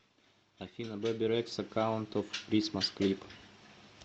афина бебе рекса каунт он кристмас клип